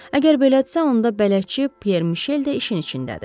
Əgər belədirsə, onda bələdçi Pier Mişel də işin içindədir.